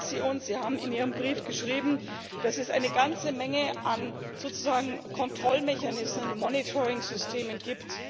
Sie haben in Ihrem Brief geschrieben, dass es eine ganze Menge an sozusagen Kontrollmechanismen, Monitoringsystemen gibt.